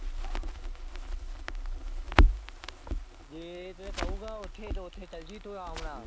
ਜੇ ਤੇ ਕਹੂਗਾ ਓਥੇ ਤੇ ਓਥੇ ਚਲਜੀ ਤੂੰ ਰਾਮ ਨਾ।